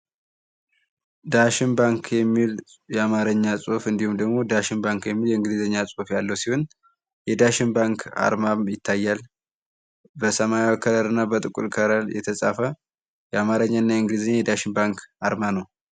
ዳሽን ባንክ የሚል የአማረኛ ጽሁፍ እንዲሁም ደግሞ ዳሽን ባንክ የሚል የእንግሊዘኛ ጽሁፍ ያለው ሲሆን፤ የዳሽን ባንክ አርማም ይታያል በሰማያዊ ከለር እና በጥቁር ከለር የተጻፈ የአማረኛ እና የእንግሊዘኛ የዳሽን ባንክ አርማ ነው።